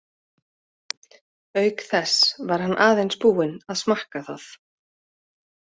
Auk þess var hann aðeins búinn að smakka það.